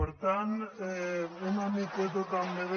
per tant una miqueta també de